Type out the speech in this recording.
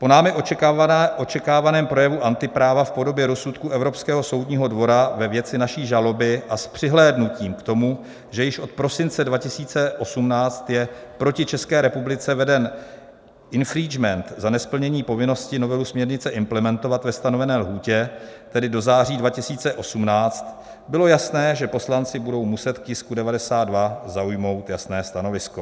Po námi očekávaném projevu antipráva v podobě rozsudku Evropského soudního dvora ve věci naší žaloby a s přihlédnutím k tomu, že již od prosince 2018 je proti České republice veden infringement za nesplnění povinnosti novelu směrnice implementovat ve stanovené lhůtě, tedy do září 2018, bylo jasné, že poslanci budou muset k tisku 92 zaujmout jasné stanovisko.